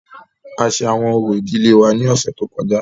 A ṣe awọn orȯ idile wa ni ọsẹ to kọja.